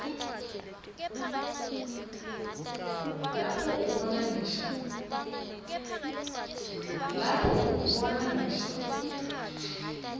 lapho ubona ngisho